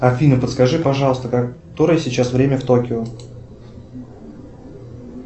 афина подскажи пожалуйста которое сейчас время в токио